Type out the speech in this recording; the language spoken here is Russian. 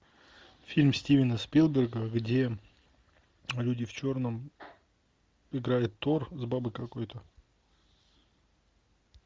фильм стивена спилберга где люди в черном играет тор с бабой какой то